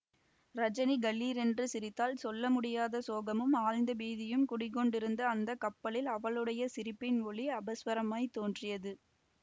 ரஜனி கலீரென்று சிரித்தாள் சொல்ல முடியாத சோகமும் ஆழ்ந்த பீதியும் குடிகொண்டிருந்த அந்த கப்பலில் அவளுடைய சிரிப்பின் ஒலி அபஸ்வரமாய்த் தோன்றியது